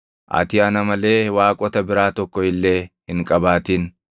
“Ati ana malee waaqota biraa tokko illee hin qabaatin.